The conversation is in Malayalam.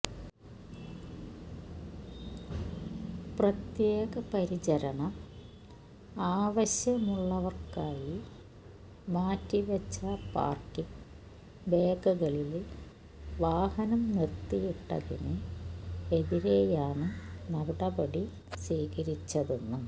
പ്രത്യേക പരിചരണം ആവശ്യമുള്ളവര്ക്കായി മാറ്റിവെച്ച പാര്ക്കിംഗ് ബേകളില് വാഹനം നിര്ത്തിയിട്ടതിന് എതിരെയാണ് നടപടി സ്വീകരിച്ചതെന്നും